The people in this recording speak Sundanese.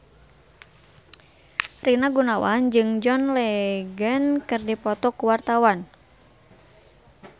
Rina Gunawan jeung John Legend keur dipoto ku wartawan